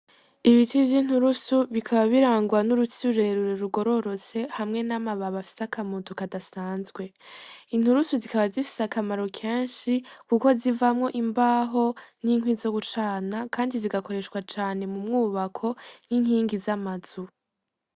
Ibiti vyo inturusu bikaba birangwa n'urutsiurerure rugororotse hamwe n'amababa afise akamutu kadasanzwe inturusu zikaba zifise akamaro kenshi, kuko zivamwo imbaho n'inkwi zo gucana, kandi zigakoreshwa cane mu mwubako nk'inkingi z'amazu.